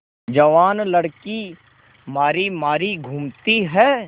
जवान लड़की मारी मारी घूमती है